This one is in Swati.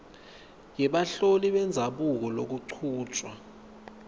yebaholi bendzabuko kulokuchutjwa